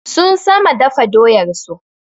Sun sama dafa doyar su